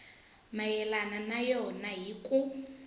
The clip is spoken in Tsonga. mayelana na yona hi ku